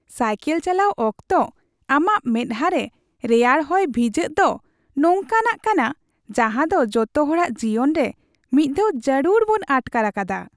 Cycle ᱪᱟᱞᱟᱣ ᱚᱠᱛᱚ ᱟᱢᱟᱜ ᱢᱮᱛᱦᱟ ᱨᱮ ᱨᱮᱭᱟᱲ ᱦᱚᱭ ᱵᱷᱤᱡᱟᱹᱜ ᱫᱳ ᱱᱚᱝᱠᱟᱱᱟᱜ ᱠᱟᱱᱟ ᱡᱟᱦᱟᱸ ᱫᱚ ᱡᱚᱛᱚ ᱦᱚᱲᱟᱜ ᱡᱤᱭᱚᱱ ᱨᱮ ᱢᱤᱫ ᱫᱷᱟᱣ ᱡᱟᱹᱨᱩᱲ ᱵᱚᱱ ᱟᱴᱠᱟᱨ ᱟᱠᱟᱫᱼᱟ ᱾